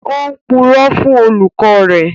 Ó ń purọ́ fún olùkọ́ rẹ̀